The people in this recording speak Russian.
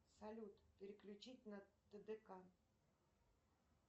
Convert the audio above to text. салют переключить на тдк